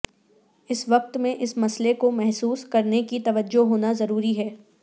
اس وقت میں اس مسئلے کو محسوس کرنے کی توجہ ہونا ضروری ہے